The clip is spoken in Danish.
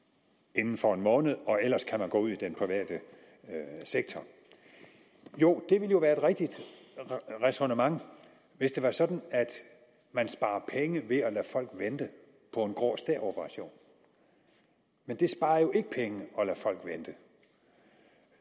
inden for en måned og ellers kan gå ud i den private sektor jo det ville være et rigtigt ræsonnement hvis det var sådan at man sparede penge ved at lade folk vente på en grå stær operation men det sparer jo ikke penge at lade folk vente